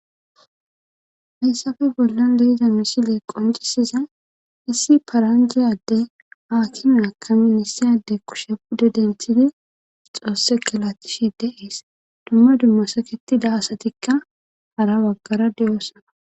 hayssafe bollon de'iza misiley qoncisiza issi paranjiyade aadr akime akamidi kushe pude denthidi xoosse galatishi deees dumma dumma saketida asatikka hara baggara de,oosoona